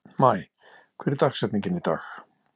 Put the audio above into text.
Maj, hver er dagsetningin í dag?